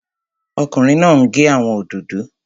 Ọkùnrin náà n gé àwọn òdòdó